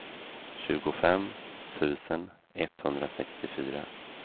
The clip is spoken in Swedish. tjugofem tusen etthundrasextiofyra